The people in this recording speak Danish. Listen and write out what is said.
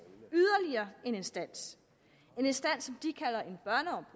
yderligere en instans en instans